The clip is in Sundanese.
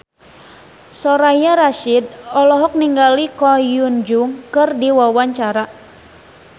Soraya Rasyid olohok ningali Ko Hyun Jung keur diwawancara